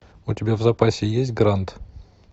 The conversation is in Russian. у тебя в запасе есть гранд